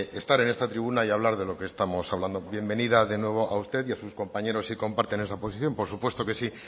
estar en esta tribuna y hablar de lo que estamos hablando bienvenida de nuevo a usted y a sus compañeros sí comparten esa posición por supuesto que sí